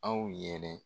Aw yɛrɛ